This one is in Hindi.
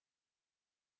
आप सभी को नमस्कार